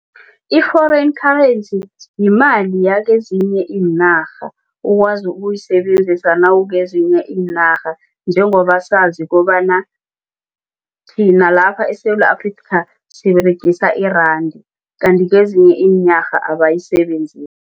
I-foreign currency yimali yakezinye iinarha owazi ukuyisebenzisa nawukezinye iinarha njengoba sazi bona thina nalapha eSewula Afrika siberegisa iranda kanti kezinye iinarha